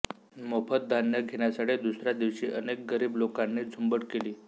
मोफत धान्य घेण्यासाठी दुसऱ्या दिवशी अनेक गरीब लोकांनी झुंबड केली